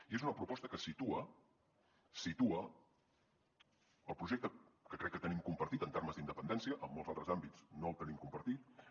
i és una proposta que situa situa el projecte que crec que tenim compartit en termes d’independència en molts altres àmbits no el tenim compartit